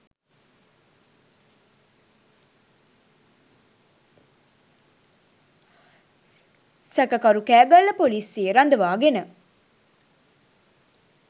සැකකරු කෑගල්ල පොලිසියේ රඳවාගෙන